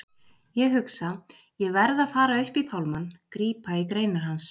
Ég hugsa: Ég verð að fara upp í pálmann, grípa í greinar hans.